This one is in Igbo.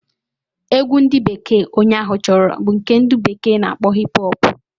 Egwu ndi bekee onye ahụ choro bu nke ndi bekee na akpo Hip-hop